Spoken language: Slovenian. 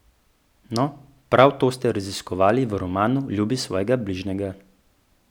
No, prav to ste raziskovali v romanu Ljubi svojega bližjega.